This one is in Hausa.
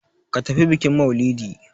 Ka tafi bikin mailidi!